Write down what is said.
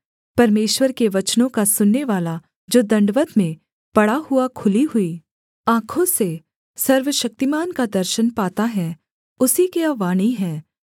परमेश्वर के वचनों का सुननेवाला जो दण्डवत् में पड़ा हुआ खुली हुई आँखों से सर्वशक्तिमान का दर्शन पाता है उसी की यह वाणी है कि